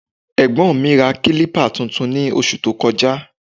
Ẹ̀gbọ́n mi ra kílípà tuntun ní oṣù tó kọjá